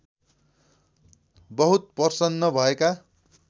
बहुत प्रसन्न भएका